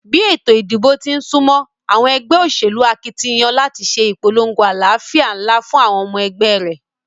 Bí ètò ìdìbò tín súmó, àwon egbé òsèlú akitiyan láti sé ìpolongo alálàfíà nlá fún àwon omo egbé ré